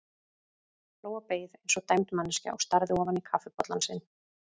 Lóa beið eins og dæmd manneskja og starði ofan í kaffibollann sinn.